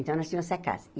Então, nós tínhamos essa casa.